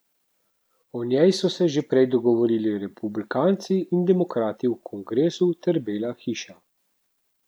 O njej so se že prej dogovorili republikanci in demokrati v kongresu ter Bela hiša.